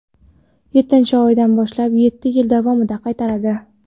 yettinchi oydan boshlab yetti yil davomida qaytaradi.